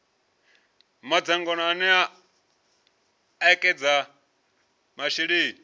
madzangano ane a ekedza masheleni